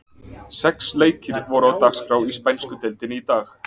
Sex leikir voru á dagskrá í spænsku deildinni í dag.